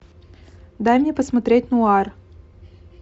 дай мне посмотреть нуар